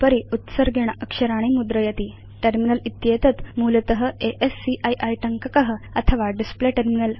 उपरि उत्सर्गेण अक्षराणि मुद्रयति टर्मिनल इत्येतत् मूलत अस्की टङ्कक अथवा डिस्प्ले टर्मिनल